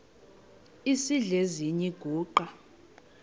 esidl eziny iziguqa